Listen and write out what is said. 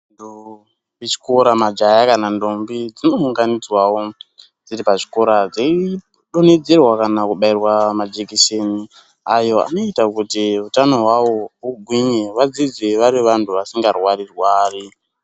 Kuchikora majaha kana ntombi dzinounganidzwawo dziri pachikora dzeidonhedzerwa kana kubairwa majekiseni ayo anoita kuti utano haavo hugwinye vadzidze vari vantu vasika rwari-rwari.